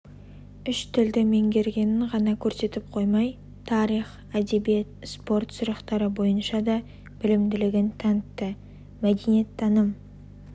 үш тілді меңгергенін ғана көрсетіп қоймай тарих әдебиет спорт сұрақтары бойынша да білімділігін танытты мәдениеттаным